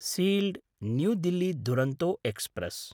sealed New Delhi Duronto express